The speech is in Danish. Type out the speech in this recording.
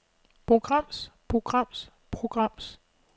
programs programs programs